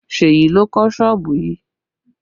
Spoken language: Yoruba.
Seyi ló kọ́ sọ́ọ̀bù yìí